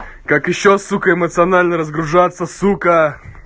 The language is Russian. как ещё сука эмоционально разгружаться сука